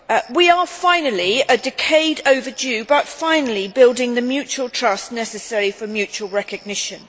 We are finally, a decade overdue, but finally building the mutual trust necessary for mutual recognition.